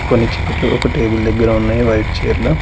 కొన్ని చైర్లు టేబుల్ దగ్గర ఉన్నాయి వైట్ చైర్లు .